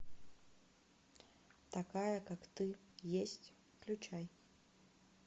такая как ты есть включай